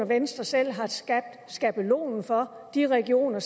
venstre selv har skabt skabelonen for de regioner